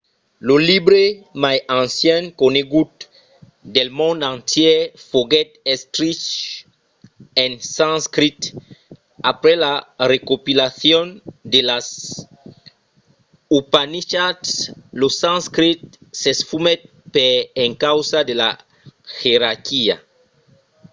lo libre mai ancian conegut del mond entièr foguèt escrich en sanscrit. après la recopilacion de las upanishads lo sanscrit s'esfumèt per encausa de la ierarquia